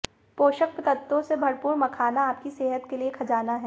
पोषक तत्वों से भरपूर मखाना आपकी सेहत के लिए खजाना है